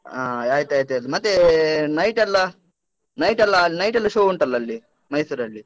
ಹಾ ಆಯ್ತಾಯ್ತ್ ಆಯ್ತು. ಮತ್ತೇ night ಎಲ್ಲಾ? night ಎಲ್ಲ ಅಲ್ಲ್ night ಎಲ್ಲ show ಉಂಟಲ್ಲ ಅಲ್ಲಿ, ಮೈಸೂರಲ್ಲಿ?